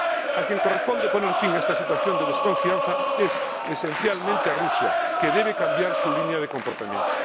A quien corresponde poner fin a esta situación de desconfianza es esencialmente a Rusia, que debe cambiar su línea de comportamiento.